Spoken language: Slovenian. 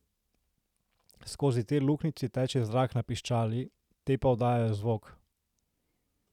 Skozi te luknjice teče zrak na piščali, te pa oddajajo zvok.